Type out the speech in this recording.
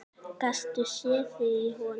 Gastu séð þig í honum?